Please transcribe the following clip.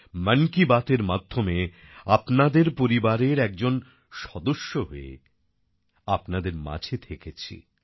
মন কি বাতের মাধ্যমে আপনাদের পরিবারের একজন সদস্য হয়ে আপনাদের মাঝে থেকেছি